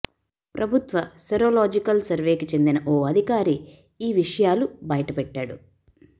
ప్రభుత్వ సెరోలాజికల్ సర్వేకి చెందిన ఓ అధికారి ఈ విషయాలు బయటపెట్టాడు